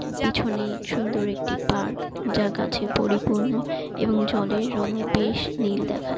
পিছনে সুন্দর একটি পার্ক যা গাছে পরিপূর্ণ এবং জলের রং বেশ নীল দেখা--